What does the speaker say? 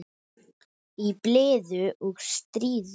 Í blíðu og stríðu.